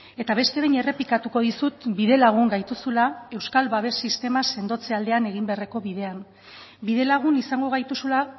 eta beste behin errepikatuko dizut bidelagun gaituzula euskal babes sistema sendotze aldean egin beharreko bidean bidelagun izango gaituzula